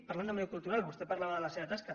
parlant d’òmnium cultural vostè parlava de la seva tasca